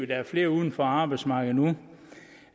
der er flere uden for arbejdsmarkedet nu hvad